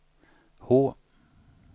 H